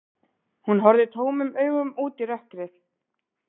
Hún horfði tómum augum út í rökkrið.